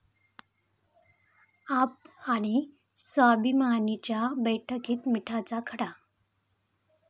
आप'आणि 'स्वाभिमानी'च्या बैठकीत 'मिठाचा खडा'